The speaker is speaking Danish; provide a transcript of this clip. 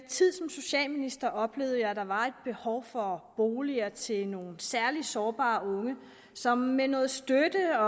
socialminister oplevede jeg der var et behov for boliger til nogle særlig sårbare unge som med noget støtte